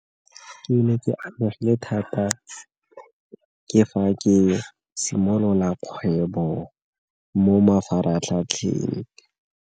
Ke ne ke amegile thata ke fa ke simolola kgwebo mo mafaratlhatlheng.